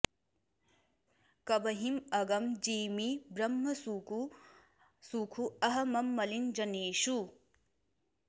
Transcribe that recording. कबिहिं अगम जिमि ब्रह्मसुखु अह मम मलिन जनेषु